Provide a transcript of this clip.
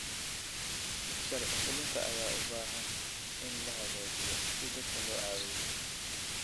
Sharci fulinta ayaa u baahan in la hagaajiyo si dadka loo caawiyo.